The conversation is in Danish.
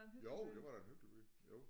Jo det var da en hyggelig by jo